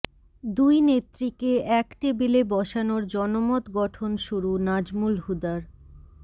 দুই নেত্রীকে এক টেবিলে বসানোর জনমত গঠন শুরু নাজমুল হুদার